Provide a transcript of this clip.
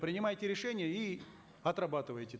принимайте решения и отрабатывайте